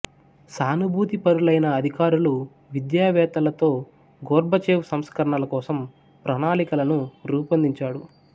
సానుభూతిపరులైన అధికారులు విద్యావేత్తలతో గోర్బచేవ్ సంస్కరణల కోసం ప్రణాళికలను రూపొందించాడు